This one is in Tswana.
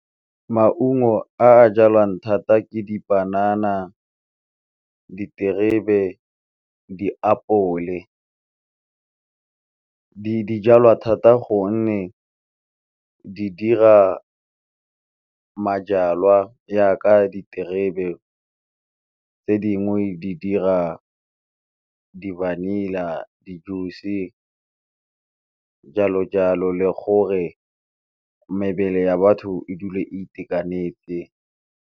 Maungo a jalwang thata ke dipanana, diterebe, diapole dijalwa thata gonne di dira majalwa jaak diterebe tse dingwe di dira di- vanilla, di-juice jalo jalo le gore mebele ya batho e dule a itekanetse.